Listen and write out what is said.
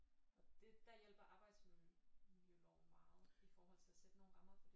Og det der hjælper arbejdsmiljøloven meget i forhold til at sætte nogle rammer for det